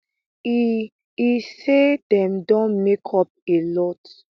e e say dem don make up a lot